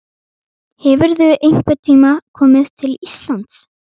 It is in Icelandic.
Hefurðu einhvern tíma komið til Íslands?